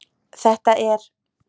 þetta er